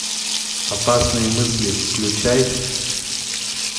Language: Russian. опасные мысли включай